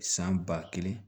San ba kelen